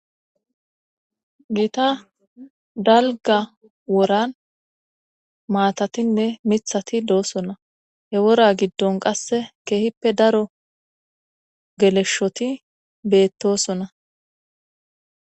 Giita dalga woran maatatinne mithati doosonna he wora giddon qasse keehippe daro geleshshoti beettosona.